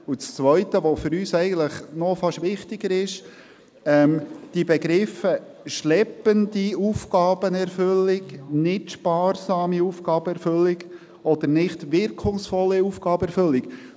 Das Zweite, welches für uns eigentlich noch fast wichtiger ist, sind die Begriffe «schleppende Aufgabenerfüllung», «nicht sparsame Aufgabenerfüllung» oder «nicht wirkungsvolle Aufgabenerfüllung».